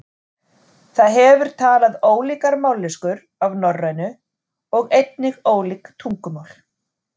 Það hefur talað ólíkar mállýskur af norrænu og einnig ólík tungumál.